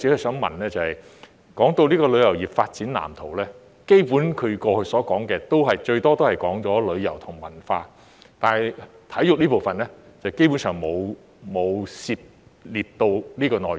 說到《發展藍圖》，基本上他過去所說的，最多也只是提到旅遊和文化，但體育這部分，基本上沒有涉獵到相關內容。